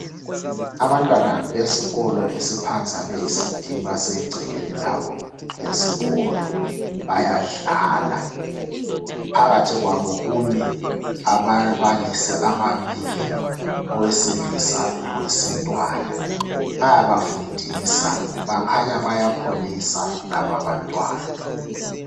Abantwana besikolo esiphansi abeECD basegcekeni labo lesikolo bayadlala. Phakathi kwabo kumi ababalisi ababili owesilisa lowesintwana bayabafundisa bakhanya bayakholisa laba abantwana.